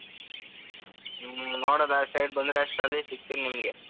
ಹ್ಮ್ ಹ್ಮ್ ನೋಡೋದಾ ಆಚೆ side ಬಂದ್ರೆ ಅಷ್ಟ್ರಲ್ಲಿ ಸಿಗ್ತೀನಿ ನಿಮ್ಗೆ.